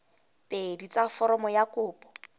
pedi tsa foromo ya kopo